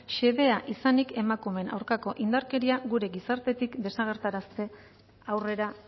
xedea izanik emakumeen aurkako indarkeria gure gizartetik desagerrarazte aurrera